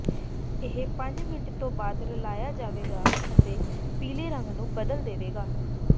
ਇਹ ਪੰਜ ਮਿੰਟਾਂ ਤੋਂ ਬਾਅਦ ਰਲਾਇਆ ਜਾਵੇਗਾ ਅਤੇ ਪੀਲੇ ਰੰਗ ਨੂੰ ਬਦਲ ਦੇਵੇਗਾ